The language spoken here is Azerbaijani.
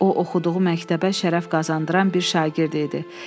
O oxuduğu məktəbə şərəf qazandıran bir şagird idi.